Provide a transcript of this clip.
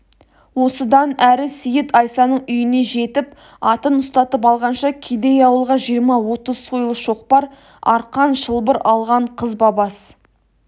осыдан әрі сейіт айсаның үйіне жетіп атын ұстатып алғанша кедей ауылға жиырма-отыз сойыл шоқпар арқан шылбыр алған қызбабас